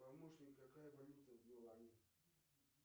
помощник какая валюта в милане